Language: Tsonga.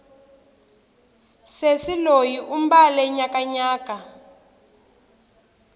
sesi loyi u mbale nyakanyaka